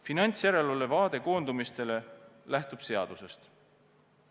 Finantsjärelevalve vaade koondumistele lähtub seadusest.